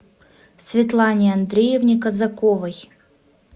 светлане андреевне казаковой